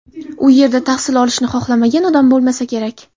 U yerda tahsil olishni xohlamagan odam bo‘lmasa kerak.